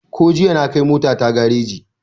Ko jiya na kai mota ta gareji